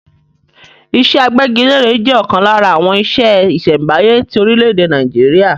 Iṣẹ́ agbẹ́gilére jẹ́ ọ̀kan lára àwọn iṣẹ́ ìṣẹ̀m̀báyé ti orílẹ̀-èdè Nàìjíríà.